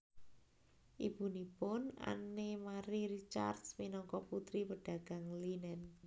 Ibunipun Anne Marie Ricard minangka putri pedagang linen